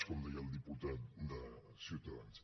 com deia el diputat de ciutadans